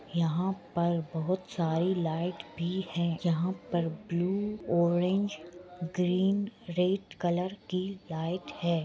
यहां पर बोहोत सारी लाइट भी है यहां पर blue orange green red colour की लाइट है।